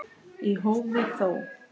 Í hófi þó.